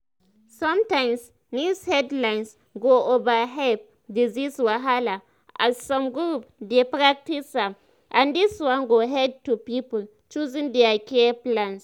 sometimes news headlines go overhype disease wahala as some groups dey practice am and this one go lead to people choosing other care plans."